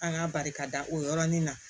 An k'a barikada o yɔrɔnin na